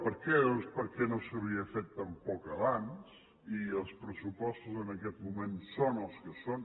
per què doncs perquè no s’havia fet tampoc abans i els pressupostos en aquest moment són els que són